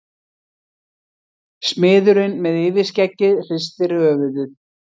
Smiðurinn með yfirskeggið hristir höfuðið.